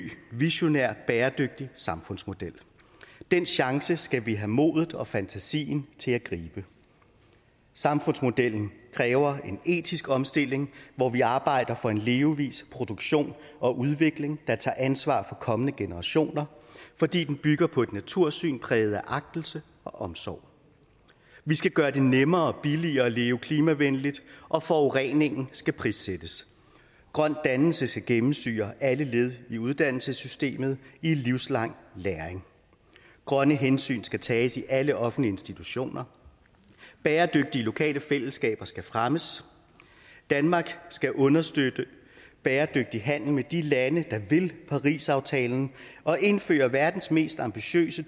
visionær bæredygtig samfundsmodel den chance skal vi have mod og fantasi til at gribe samfundsmodellen kræver en etisk omstilling hvor vi arbejder for en levevis produktion og udvikling der tager ansvar for kommende generationer fordi den bygger på et natursyn præget af agtelse og omsorg vi skal gøre det nemmere og billigere at leve klimavenligt og forurening skal prissættes grøn dannelse skal gennemsyre alle led i uddannelsessystemet i en livslang læring grønne hensyn skal tages i alle offentlige institutioner bæredygtige lokale fællesskaber skal fremmes danmarks skal understøtte bæredygtig handel med de lande der vil paris aftalen og indføre verdens mest ambitiøse